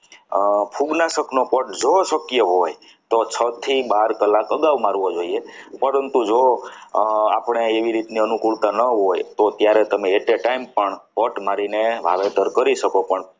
ફૂગનાશક નો પાઠ જો શક્ય હોય તો છ થી બાર કલાક અગાઉ મારવો જોઈએ પરંતુ જો આપણે એવી રીતના અનુકૂળતા ન હોય તો ત્યારે તમે at a time પણ પટ મારીને વાવેતર કરી શકો. પણ